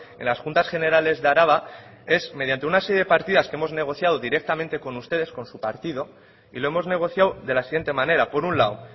en las juntas generales de araba es mediante una serie de partidas que hemos negociado directamente con ustedes con su partido y lo hemos negociado de la siguiente manera por un lado